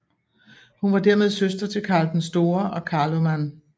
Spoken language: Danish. Hun var dermed søster til Karl den Store og Karloman